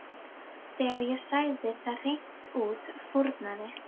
Þegar ég sagði það hreint út fórnaði